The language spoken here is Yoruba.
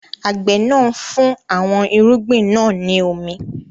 Àgbẹ̀ náà ń fún àwọn irúgbìn náà ní omi.